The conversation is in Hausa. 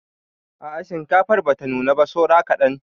A'a shinkafar bata nuna ba saura kaɗan.